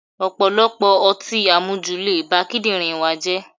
Ọ̀pọ̀lọpọ̀ ọtí àmujù le ba kídírìn wa jẹ́.